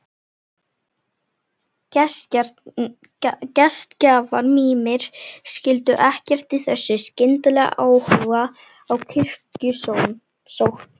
Gestgjafar mínir skildu ekkert í þessum skyndilega áhuga á kirkjusókn.